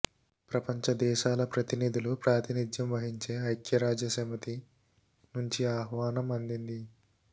ప్రపంచ దేశాల ప్రతినిధులు ప్రాతినిధ్యం వహించే ఐక్యరాజ్యసమితి నుంచి ఆహ్వానం అందింది